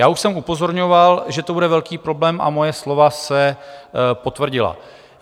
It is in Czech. Já už jsem upozorňoval, že to bude velký problém, a moje slova se potvrdila.